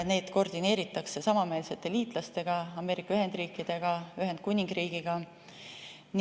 Neid koordineeritakse samameelsete liitlastega: Ameerika Ühendriikidega ja Ühendkuningriigiga.